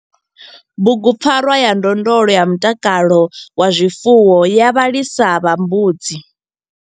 Bugupfarwa ya ndondolo ya mutakalo wa zwifuwo ya vhalisa vha mbudzi.